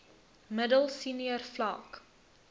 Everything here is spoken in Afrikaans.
middel senior vlak